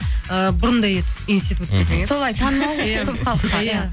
ыыы бұрында еді институт солай танымал көп халыққа иә